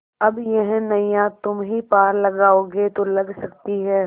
अब यह नैया तुम्ही पार लगाओगे तो लग सकती है